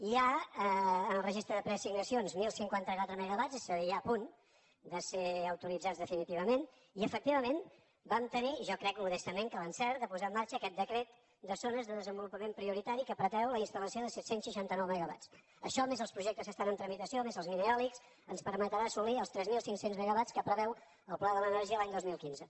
hi ha en el registre de preassignacions deu cinquanta quatre megawats és a dir ja a punt de ser autoritzats definitivament i efectivament vam tenir jo crec modestament l’encert de posar en marxa aquest decret de zones de desenvolupament prioritari que pretén la instal·lació de set cents i seixanta nou megawats això més els projectes que estan en tramitació més els mineòlics ens permetran assolir els tres mil cinc cents megawats que preveu el pla de l’energia l’any dos mil quinze